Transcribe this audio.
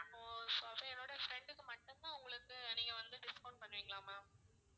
அப்போ so என்னோட friend க்கு மட்டும் தான் உங்களுக்கு நீங்க வந்து discount பண்ணுவிங்களா ma'am